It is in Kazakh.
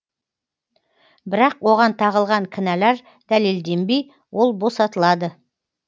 бірақ оған тағылған кінәлар дәлелденбей ол босатылады